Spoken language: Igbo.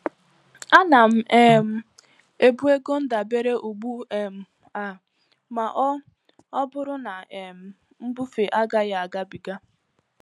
Ana m um ebu ego ndabere ugbu um a ma ọ ọ bụrụ na um mbufe agaghị agabiga.